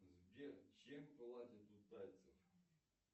сбер чем платят у тайцев